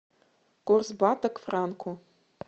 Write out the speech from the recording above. курс бата к франку